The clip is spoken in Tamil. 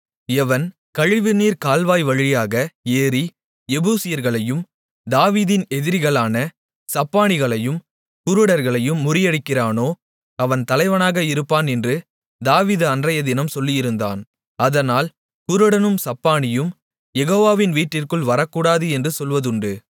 எவன் கழிவுநீர்க்கால்வாய் வழியாக ஏறி எபூசியர்களையும் தாவீதின் எதிரிகளான சப்பாணிகளையும் குருடர்களையும் முறியடிக்கிறானோ அவன் தலைவனாக இருப்பான் என்று தாவீது அன்றையதினம் சொல்லியிருந்தான் அதனால் குருடனும் சப்பாணியும் யெகோவாவின் வீட்டிற்குள் வரக்கூடாது என்று சொல்வதுண்டு